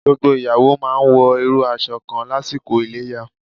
Gbogbo ìyàwó máa wọ irú aṣọ kan lásìkò Iléyá.